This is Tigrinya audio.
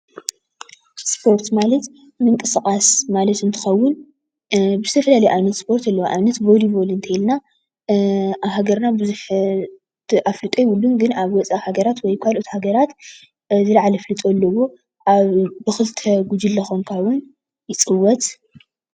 እስፖርት ማለት ምንቅስቃስ ማለት እንትከዉን ብዝተፈላለየ ኣበነት እስፖርት ኣለዉ፡፡ ንኣብነት ቮሊቮል እንተይልና ኣብ ሃገርና ቡዝሕ ኣፍልጦ የቡሉን ግን ኣብ ወፃኢ ሃገራት ወይ ካልኦት ሃገራት ዝለዓለ ኣፍልጦ ኣለዎ፡፡ ኣብ ብክልተ ጉጅለ ኮይንካ እዉን ይፅወት፡፡